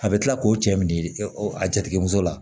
A bɛ kila k'o cɛ min di a jatigɛmuso la